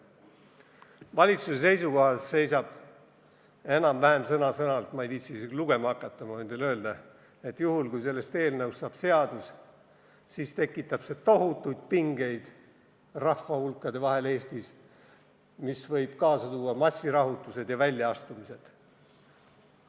Valitsuse seisukohas seisab enam-vähem sõna-sõnalt – ma ei viitsi isegi lugema hakata, ma võin teile öelda –, et juhul, kui sellest eelnõust saab seadus, tekitab see Eestis rahvahulkade vahel tohutuid pingeid ja võib kaasa tuua massirahutusi ja väljaastumisi.